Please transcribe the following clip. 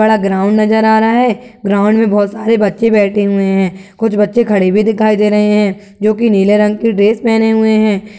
बड़ा ग्राउंड नज़र आ रहा है। ग्राउंड मे बोहोत सारे बच्चे बैठे हुए हैं। कुछ बच्चे खड़े भी दिखाई दे रहे हैं जो कि नीले रंग के ड्रेस पेहने हुए हैं।